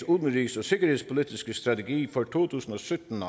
udenrigs og sikkerhedspolitiske strategi for to tusind og sytten